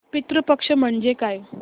पितृ पक्ष म्हणजे काय